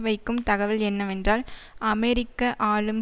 வைக்கும் தகவல் என்னவென்றால் அமெரிக்க ஆளும்